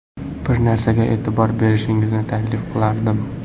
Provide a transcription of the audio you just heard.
Bir narsaga e’tibor berishingizni taklif qilardim.